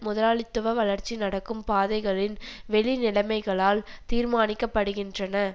முதலாளித்துவ வளர்ச்சி நடக்கும் பாதைகளின் வெளி நிலைமைகளால் தீர்மானிக்கப்படுகின்றன